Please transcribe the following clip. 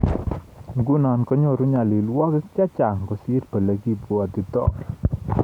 Nguno konyoru nyalilwogik chechaang kosir ole kibwotitoi